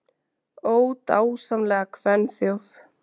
Ó, dásamlega kvenþjóð!